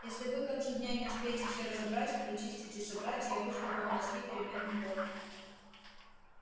если вы к концу дня не успеете все разобрать прочистить и собрать я выжгу вам мозги переменным током